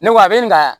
Ne ko a bɛ n ka